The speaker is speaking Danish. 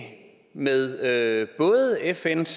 med både fns